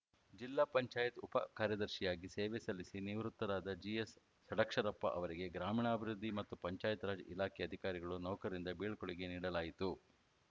ಜಿಲ್ಲಾ ಪಂಚಾಯತ್ ಉಪ ಕಾರ್ಯದರ್ಶಿಯಾಗಿ ಸೇವೆ ಸಲ್ಲಿಸಿ ನಿವೃತ್ತರಾದ ಜಿಎಸ್‌ ಷಡಕ್ಷರಪ್ಪ ಅವರಿಗೆ ಗ್ರಾಮೀಣಾಭಿವೃದ್ಧಿ ಮತ್ತು ಪಂಚಾಯತ್‌ರಾಜ್‌ ಇಲಾಖೆ ಅಧಿಕಾರಿಗಳು ನೌಕರರಿಂದ ಬೀಳ್ಕೊಡುಗೆ ನೀಡಲಾಯಿತು